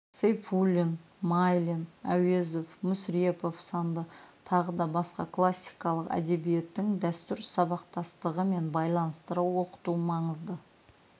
сейфуллин майлин әуезов мүсірепов сынды тағы да басқа классикалық әдебиеттің дәстүр сабақтастығымен байланыстыра оқыту маңызды